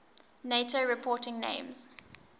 nato reporting names